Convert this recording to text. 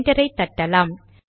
என்டரை தட்டலாம்